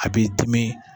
A b'i dimi